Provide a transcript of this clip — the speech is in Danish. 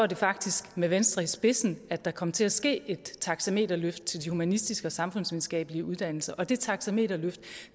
det faktisk med venstre i spidsen at der kom til at ske et taxameterløft til de humanistiske og samfundsvidenskabelige uddannelser og det taxameterløft